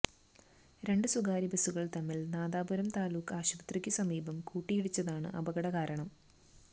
രണ്ടു സ്വകാര്യ ബസുകൾ തമ്മിൽ നാദാപുരം താലൂക്ക് ആശുപത്രിക്കു സമീപം കൂട്ടിയിടച്ചതാണ് അപകട കാരണം